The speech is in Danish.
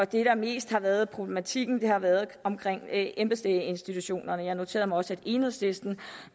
det der mest har været problematikken har været omkring embedslægeinstitutionerne jeg noterede mig også at enhedslisten